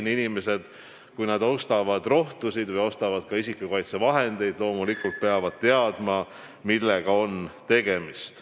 Kui inimesed ostavad rohtusid või ka isikukaitsevahendeid, siis peavad nad loomulikult teadma, millega on tegemist.